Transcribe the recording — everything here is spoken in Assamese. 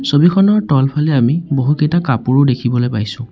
ছবিখনৰ তলফালে আমি বহুকেইটা কাপোৰো দেখিবলৈ পাইছোঁ।